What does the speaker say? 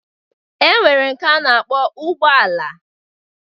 E nwere nke a na-akpọ ụgbọala